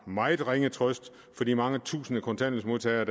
meget ringe trøst for de mange tusinde kontanthjælpsmodtagere